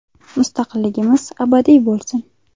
Mustaqilligimiz abadiy bo‘lsin!”.